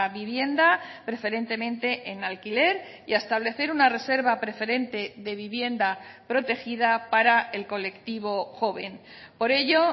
vivienda preferentemente en alquiler y a establecer una reserva preferente de vivienda protegida para el colectivo joven por ello